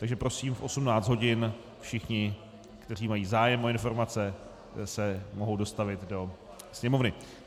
Takže prosím, v 18 hodin všichni, kteří mají zájem o informace, se mohou dostavit do Sněmovny.